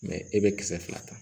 e bɛ kisɛ fila ta